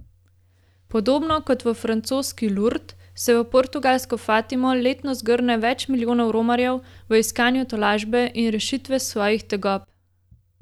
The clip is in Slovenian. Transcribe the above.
Podobno kot v francoski Lurd se v portugalsko Fatimo letno zgrne več milijonov romarjev v iskanju tolažbe in rešitve svojih tegob.